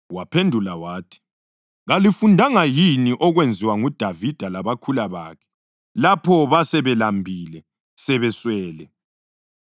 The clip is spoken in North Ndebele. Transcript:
Waphendula wathi, “Kalifundanga yini okwenziwa nguDavida labakhula bakhe lapho basebelambile sebeswele?